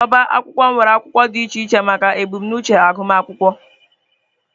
Ọbá akwụkwọ nwere akwụkwọ dị iche iche maka ebumnuche agụmakwụkwọ